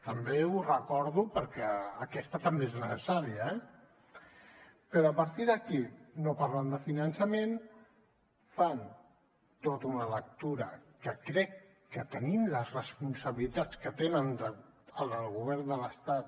també ho recordo perquè aquesta també és necessària eh però a partir d’aquí no parlen de finançament fan tota una lectura que crec que tenint les responsabilitats que tenen en el govern de l’estat